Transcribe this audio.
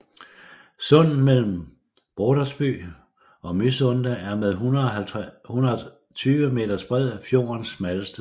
Sundet mellem Brodersby og Mysunde er med 120 meters bredde fjordens smalleste sted